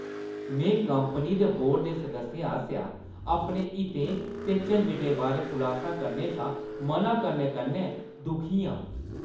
में कंपनी दे बोर्ड दे सदस्यें आसेआ अपने हितें दे झंजटें बारै खुलासा करने शा म'ना करने कन्नै दुखी आं ।